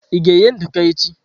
Ị ga-eghe nduku echi?